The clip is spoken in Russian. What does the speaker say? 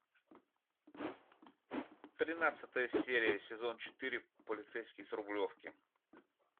тринадцатая серия сезон четыре полицейский с рублевки